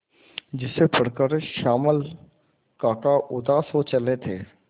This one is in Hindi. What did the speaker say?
जिसे पढ़कर श्यामल काका उदास हो चले थे